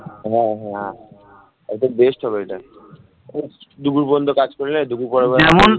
হ্যাঁ হ্যাঁ, একদম best সকালটা দুপুর পর্যন্ত কাজ করলে